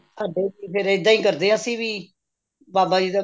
ਸਾਡੇ ਵੀ ਇੱਦਾਂ ਹੀ ਕਰਦੇ ਏ ਅਸੀਂ ਵੀ ਬਾਬਾ ਜੀ ਦਾ